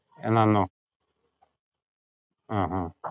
എന്നാ അന്നോ? ആഹ് ആഹ്